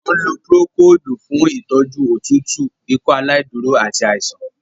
A ń lò procold fún ìtọjú òtútù Ikọaláìdúró àti àìsàn.